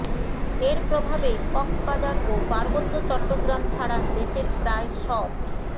এর প্রভাবে কক্সবাজার ও পার্বত্য চট্টগ্রাম ছাড়া দেশের প্রায় সব